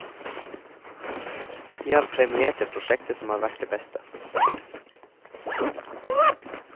Vi har premiert det prosjektet som har vært det beste.